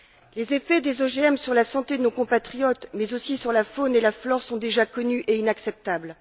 Les effets des OGM sur la santé de nos compatriotes mais aussi sur la faune et la flore sont déjà connus et inacceptables.